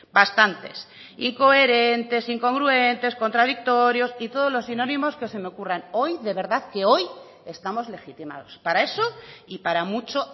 bastantes incoherentes incongruentes contradictorios y todos los sinónimos que se me ocurran hoy de verdad que hoy estamos legitimados para eso y para mucho